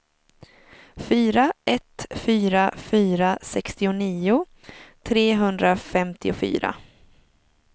fyra ett fyra fyra sextionio trehundrafemtiofyra